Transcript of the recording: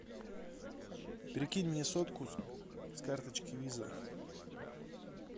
перекинь мне сотку с карточки виза